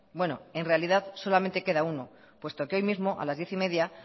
bueno en realidad solamente queda uno puesto que hoy mismo a las diez y media